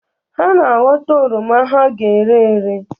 Ha na-aghọta oroma ha ga-ere ere.